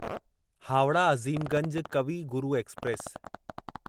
Howrah Azimganj Kavi Guru express